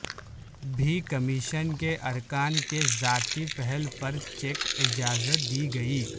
بھی کمیشن کے ارکان کے ذاتی پہل پر چیک اجازت دی گئی